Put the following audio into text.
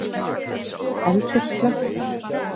Eldur slökktur